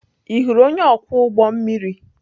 Ị hụrụ onye ọkwọ ụgbọ mmiri?